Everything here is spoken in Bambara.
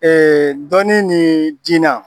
dɔnni ni jina